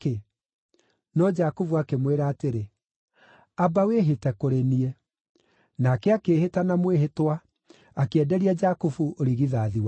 No Jakubu akĩmwĩra atĩrĩ, “Amba wĩhĩte kũrĩ niĩ.” Nake akĩĩhĩta na mwĩhĩtwa, akĩenderia Jakubu ũrigithathi wake.